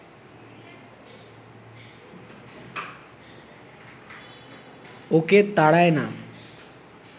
ওকে তাড়ায় না